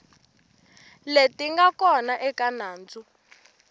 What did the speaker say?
leti nga kona eka nandzu